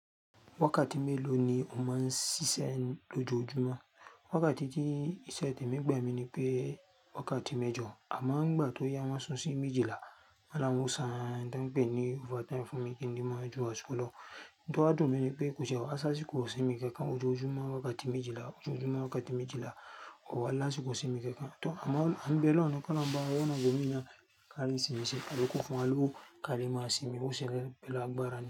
Wákàtí mélòó ni o máa ń ṣiṣẹ́ lójoojúmọ́? Wákàtí tí ìṣẹ̀ tẹ̀mi gbà mi ni pé wákàtí mẹ́jọ, àmọ́ ni ìgbà tó yá won sun sí méjìlá. Won ni awon o ṣán ohun tan pè ní over time fún mi kí n le ma ju àsìkò lọ. Ohun to wà dùn mí ní pé kò tiẹ̀ wá si áṣíkò isímin kankan lójoojúmọ́ wákàtí méjìlá, lójoojúmọ́ wákàtí méjìlá, kò wá ni ásìkò isímin kankan. Tọ́ àmọ́ à ń bé olohun ni ki olohun ba wa wa ona ibo mi naa. Kàlì ń sinmi, ṣe àlùkò fún alúbọ̀ kàlì máa sinmi, ó ṣẹlẹ̀ pẹ̀lú agbára ni.